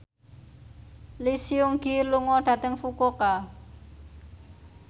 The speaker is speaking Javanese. Lee Seung Gi lunga dhateng Fukuoka